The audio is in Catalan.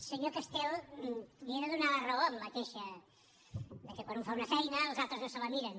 senyor castel li he de donar la raó en la queixa de que quan un fa una feina els altres no se la miren